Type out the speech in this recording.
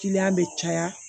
Kiliyan bɛ caya